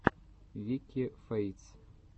вики фэйтс